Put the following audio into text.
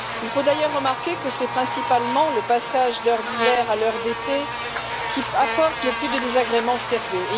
Il faut d'ailleurs remarquer que c'est principalement le passage d'heure d'hiver à l'heure d'été qui apporte le plus de désagréments sérieux.